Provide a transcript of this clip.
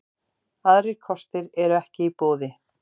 Aðrir kostir eru ekki í boði